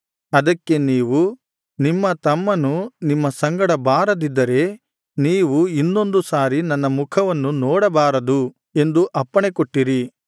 ಅದಕ್ಕೆ ನೀವು ನಿಮ್ಮ ತಮ್ಮನು ನಿಮ್ಮ ಸಂಗಡ ಬಾರದಿದ್ದರೆ ನೀವು ಇನ್ನೊಂದು ಸಾರಿ ನನ್ನ ಮುಖವನ್ನು ನೋಡಬಾರದು ಎಂದು ಅಪ್ಪಣೆಕೊಟ್ಟಿರಿ